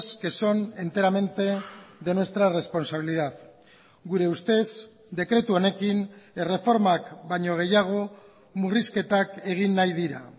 que son enteramente de nuestra responsabilidad gure ustez dekretu honekin erreformak baino gehiago murrizketak egin nahi dira